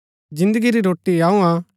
जिन्दगी री रोटी अऊँ हा